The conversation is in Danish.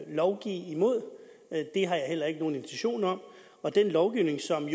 lovgive imod det har jeg heller ikke nogen intention om og den lovgivning som